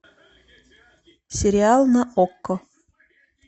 сериал на окко